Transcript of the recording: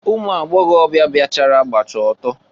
Ụmụ agbọgọbịa bịachara gbacha ọtọ.